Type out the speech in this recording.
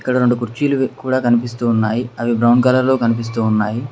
ఇక్కడ రెండు కుర్చీలు కూడా కనిపిస్తూ ఉన్నాయి అవి బ్రౌన్ కలర్ లో కనిపిస్తూ ఉన్నాయి.